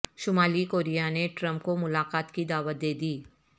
شمالی کوریا نے ٹرمپ کو ملاقات کی دعوت دیدی